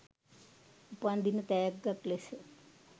උපන් දින තෑග්ගක් ලෙස